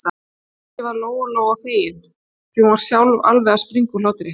Mikið var Lóa-Lóa fegin, því að hún var sjálf alveg að springa úr hlátri.